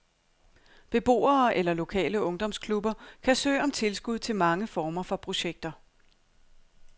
Beboere eller lokale ungdomsklubber kan søge om tilskud til mange former for projekter.